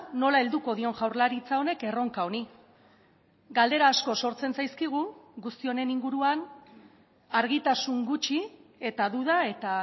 nola helduko dion jaurlaritza honek erronka honi galdera asko sortzen zaizkigu guzti honen inguruan argitasun gutxi eta duda eta